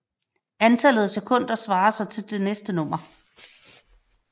Antallet af sekunder svarer så til det næste nummer